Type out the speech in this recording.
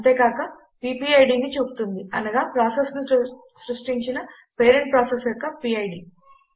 అంతేకాక అది PPIDని చూపుతుంది అనగా ప్రాసెస్ ను సృష్టించిన పేరెంట్ ప్రాసెస్ యొక్క పిడ్